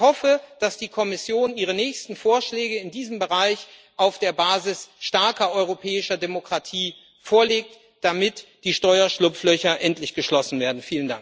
Ich hoffe, dass die Kommission ihre nächsten Vorschläge in diesem Bereich auf der Basis starker europäischer Demokratie vorlegt, damit die Steuerschlupflöcher endlich geschlossen werden.